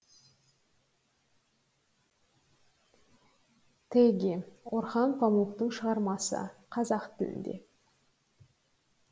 теги орхан памуктың шығармасы қазақ тілінде